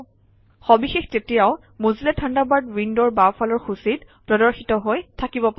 সবিশেষ তেতিয়াও Mozilla Thunderbird উইণ্ডৰ বাওঁফালৰ সূচীত প্ৰদৰ্শিত হৈ থাকিব পাৰে